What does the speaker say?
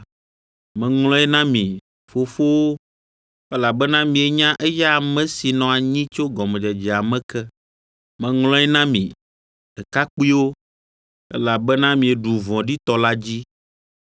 Meŋlɔe na mi, fofowo, Elabena mienya eya ame si nɔ anyi tso gɔmedzedzea me ke. Meŋlɔe na mi, ɖekakpuiwo, Elabena mieɖu vɔ̃ɖitɔ la dzi.